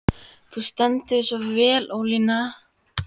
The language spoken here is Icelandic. Þú stendur þig vel, Ólína!